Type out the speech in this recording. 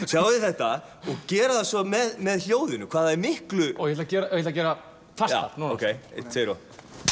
sjáðu þetta og gera þetta svo með hljóðinu hvað það er miklu ég ætla að gera fastar núna eins tvö og